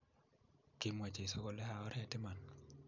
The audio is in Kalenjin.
Kimwa Jesu kole, A Oret iman.